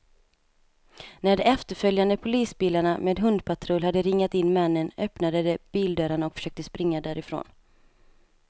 När de efterföljande polisbilarna med hundpatrull hade ringat in männen, öppnade de bildörrarna och försökte springa därifrån.